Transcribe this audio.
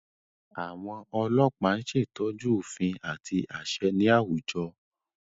Àwọn ọlọpa ñ ṣetọju òfin àti aṣẹ ní awújọ